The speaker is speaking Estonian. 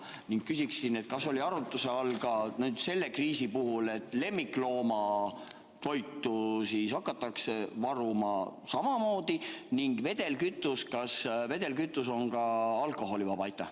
Ning küsiksin: kas oli arutluse all ka selle kriisi puhul, et lemmikloomatoitu hakatakse varuma samamoodi ning kas vedelkütus on ka alkoholivaba?